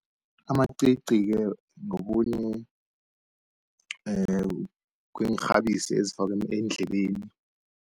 Amacici-ke ngokhunye kweenrhabisi ezifakwa eendlebeni.